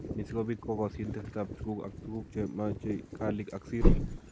Ni ko si kobiit kogosyin tesetap tuguuk ak tuguuk che machei kaalik ak siro